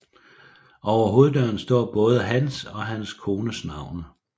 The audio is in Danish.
Over hoveddøren står både hans og hans kones navne